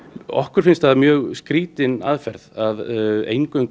okkur finnst það mjög skrítin aðferð að eingöngu